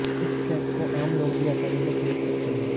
इस ड्रेस को आम लोग भी आसानी से खरीद सकते हैं